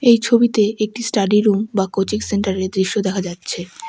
এই ছবিতে একটি স্টাডি রুম বা কোচিং সেন্টারের দৃশ্য দেখা যাচ্ছে।